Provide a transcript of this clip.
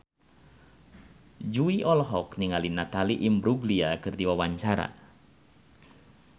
Jui olohok ningali Natalie Imbruglia keur diwawancara